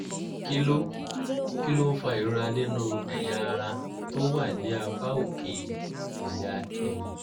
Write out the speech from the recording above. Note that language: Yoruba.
kí ló kí ló ń fa ìrora nínú ẹ̀yà ara tó wà ní apá òkè ẹ̀yà ẹ̀yìn?